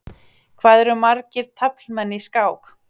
Hvað eru margir taflmenn í skák?